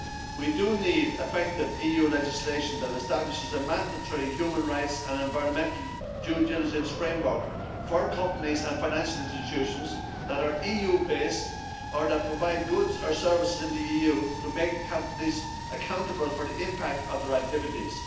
We do need effective EU legislation that establishes a mandatory human rights and environmental due-diligence framework for companies and financial institutions that are EU-based or that provide goods or services in the EU so as to make companies accountable for the impact of their activities.